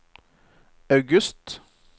august